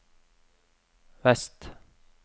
vest